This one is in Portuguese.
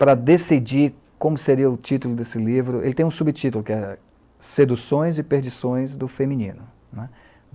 Para decidir como seria o título desse livro, ele tem um subtítulo, que é Seduções e Perdições do Feminino.''